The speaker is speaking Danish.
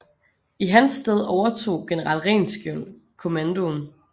I hans sted overtog general Rehnskiöld kommandoen